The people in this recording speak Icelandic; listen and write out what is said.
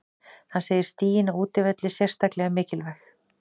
Hann segir stigin á útivelli sérstaklega mikilvæg.